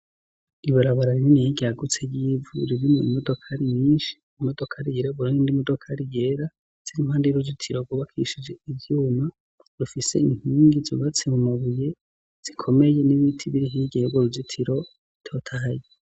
Ibarabara rininiye ryagutse ry'ivu ririmwo imodoka ari nyinshi imodoka ari yera buro ni ndi modoka ari yera, ziri impande y'uruzitiro gubakishije ivyuma rufise intungi zubatse mu mabuye zikomeye n'ibiti biri higeye bwo ruzitiro totahaye.